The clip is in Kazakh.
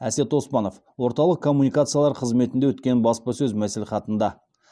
әсет оспанов орталық коммуникациялар қызметінде өткен баспасөз мәслихатында